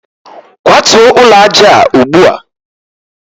kwatuo ụlọ aja a ugbu a!